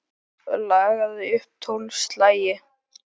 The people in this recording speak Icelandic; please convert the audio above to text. Lagði svo upp tólf slagi.